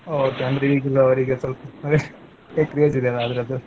Okay ಅಂದ್ರೇ ಈಗಿನವರಿಗೆ ಸೊಲ್ಪ craze ಇಲ್ಲಲಾ ಅದರ್ದು.